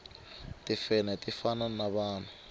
timfenhe ti fana na vanhu